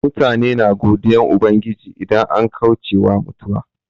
Mutane na godiyan Ubangiji idan an kauce wa mutuwa.